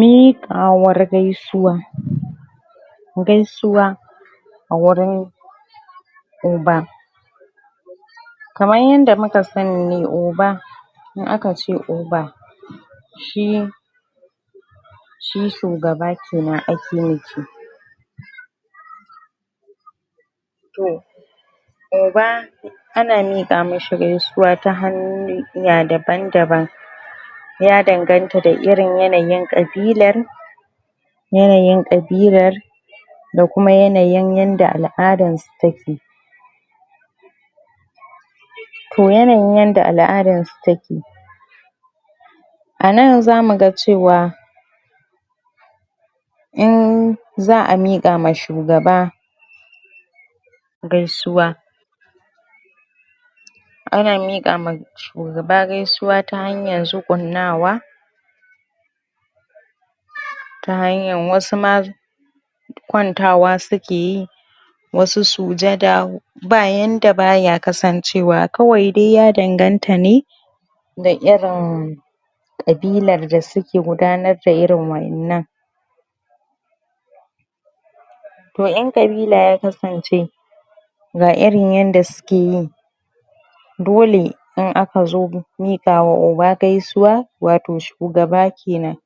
Miƙiawar gaisuwa gaisuwa a wurin oba kaman yadda muka sani oba, idan akace shi oba shi shi shugaba kenan ake nufi toh oba ana mika mishi gaisuwa ta hanya daban daban ya dangata da irin yanayin ƙabilar yanayin ƙabilar da kuma yanayin yanda aladarsu take toh yanayin yanda aladarsu take ana zamuga cewa in za a mika ma shugaba gaisuwa ana mika ma shugaba gaisuwa ta hanya zuƙunnawa, ta hanya wasu ma kwantawa suke yi, wasu sujjada, babu yanda baye kasancewa ,kawai da ya danganta ne da irin ƙabilar da suka gudanar da irin wadannan toh in ƙabilar ya kasance, ga irin ydda sukeyi, dole in akazo mika wa oba gaisuwar wato shugaba kenan,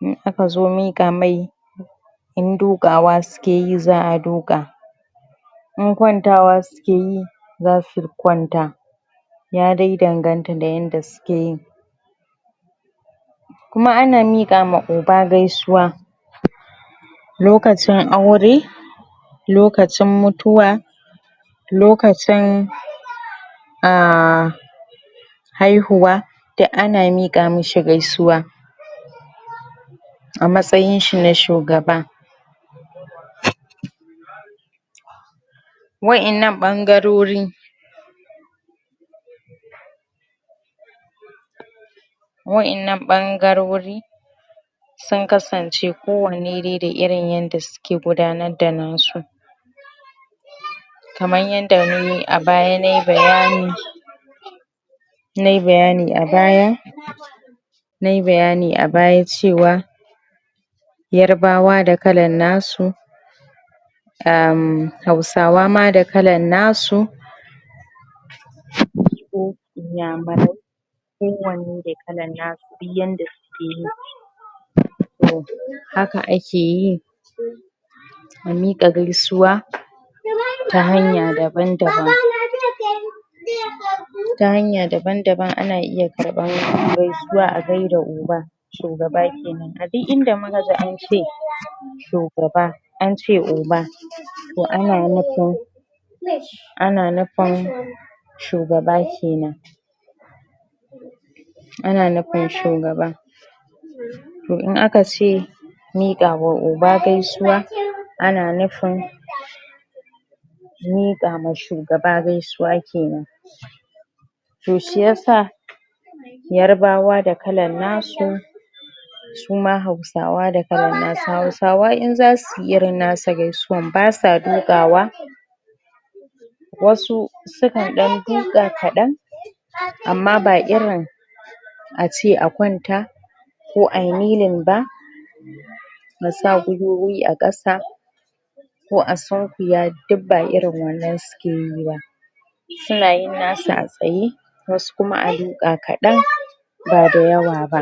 idan akazo miƙa mia in duƙawa sukeyi za a duƙa, idan kwantawa si sukeyi zasu kwanta ya dai danganta da yanda sukeyi kuma ana mika ma oba gaisuwa lokacin aure lokacin mutuwa, lokacinnn ahhh hauhuwa da ana miƙa mishi gaisuwa a matsayin shi na shugaba wadannan bangarori wadannan bangarori sun kasance kowanne da inna yanda suke gudanar da nasu kamar yadda abaya nayi bayani nayi bayani abaya nayi bayani abaya cewa yarbawa da kalan nasu um hausawa ma da kala nasu igbo iyamurai duk wanne da kalan nasu, duk yande suke yi haka akai yi a mika gaisuwa ta hanya daban daban ta hanya daban daban ana iya karban gaisuwa a gaida oba shugaba kenan. A duk inda mukayi ance shugabar ance oba toh ana nufin ana nufin shugaba kenan ana nufin shugaba toh in akace mikawa oba gaisuwa ana nufin mikawa shugabar gaisuwa kenan toh shiyasa yarbawa da kala nasu suma hausawa da kala nasu, hausawa idan zasuyi irin nasu gaisuwa basa duƙawa wasu sukan dan duƙa kadan amma ba irin ace a kwanta ko ayi kneeling ba asa gwiwowi a ƙasa ko a sunƙwiya duk ba irin wannan sukeyi ba suna yin nasu a tsaye, wasu kuma ayi ba kadan ba dayawa ba